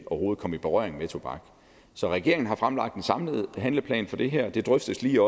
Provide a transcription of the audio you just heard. komme i berøring med tobak så regeringen har fremlagt en samlet handleplan for det her det drøftes lige